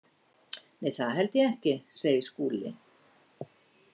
Nei, það held ég ekki, segir Skúli.